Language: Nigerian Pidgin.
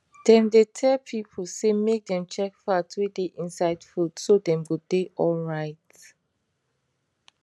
dem dey tell people say make dem check fat wey dey inside food so dem go dey alright